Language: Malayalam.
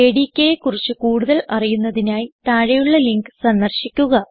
JDKയെ കുറിച്ച് കൂടുതൽ അറിയുന്നതിനായി താഴെയുള്ള ലിങ്ക് സന്ദർശിക്കുക